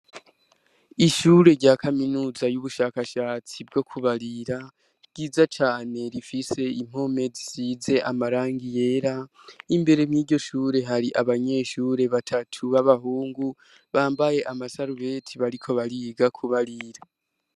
Ishure rya kaminuza yubushakashatsi bwo kubarira ryiza cane rifise impome zisize amarangi yera, imbere mwiryo shuri hariho abanyeshure batatu babahungu bamabye amsarubeti bariko bariga kubarira.